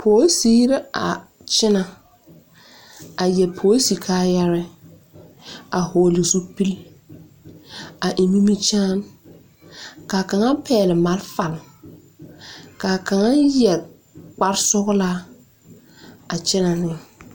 Polsiri la a kyɛnɛ a yɛre polisi kaayare a vɔgle zupili a eŋ nimikyaani ka kaŋa pɛgle marefa ka a kaŋa yɛre kparesɔglaa a kyɛnɛ ne.